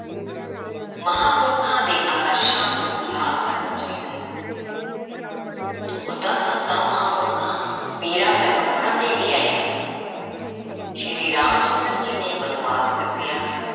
ਮਹਾਂਪੁਰਖਾਂ ਦੇ ਆਦਰਸ਼ਾਂ ਨੂੰ ਯਾਦ ਕਰਨਾ ਚਾਹੀਦਾ ਹੈ। ਦੁੱਖ ਤਾਂ ਸੰਤਾਂ–ਮਹਾਂਪੁਰਖਾਂ, ਪੀਰਾਂ–ਪੈਗੰਬਰਾਂ ‘ਤੇ ਵੀ ਆਏ ਹਨ। ਸ੍ਰੀ ਰਾਮ ਚੰਦਰ ਜੀ ਨੇ ਬਣਵਾਸ ਕੱਟਿਆ,